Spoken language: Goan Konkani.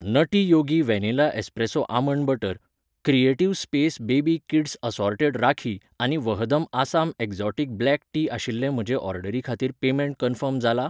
नटी Yogi vanilla espresso almond butter , creative space baby kids assorted rakhi आनी Vahdam Assam exotic black tea आशिल्ले म्हजे ऑर्डरी खातीर पेमेंट कन्फर्म जाला ?